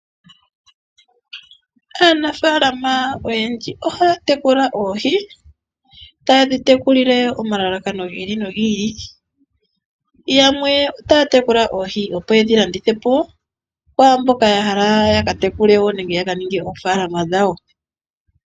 Aanafaalama oyendji ohaya tekula oohi, tayedhi tekulile omalalakano gi ili nogi ili, yamwe otaya tekula oohi opo yedhi landithepo ku mboka ya hala yaka tekule wo nenge ya ha hala yaka ninge oofaalama dhawo.